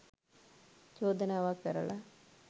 චෝදනාවක් කරලා